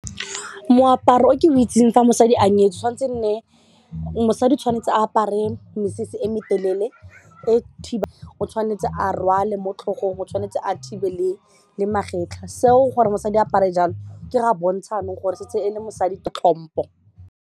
Moaparo o ke o itseng fa mosadi a nyetswe tshwanetse e nne, mosadi tshwanetse a apare mesese e me telele o tshwanetse a rwale mo tlhogong o tshwanetse a thibe le magetlha seo gore mosadi apare jalo ke ge a bontsha gore setse e le mosadi tlhompo.